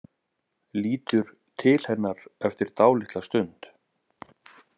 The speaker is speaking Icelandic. Lítur til hennar eftir dálitla stund.